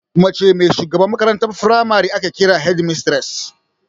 Mace mai shugabantar makarantar firamare ake kira "Headmistress"